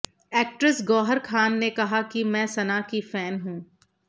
actress Gauhar Khan ने कहा कि मैं सना की फैन हूं